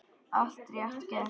Allt rétt gert.